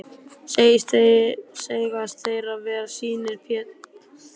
Segjast þeir vera synir Péturs í Húsanesi.